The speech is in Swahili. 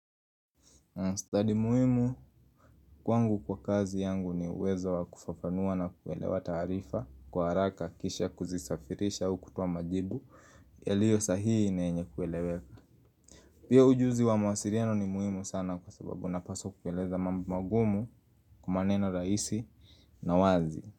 Study muhimu kwangu kwa kazi yangu ni uwezo wa kufafanua na kuelewa taarifa kwa haraka kisha kuzisafirisha au kutoa majibu yaliyo sahihi na yenye kueleweka. Pia ujuzi wa mawasiriano ni muhimu sana kwa sababu napaswa kueleza magumu kumaneno raisi na wazi.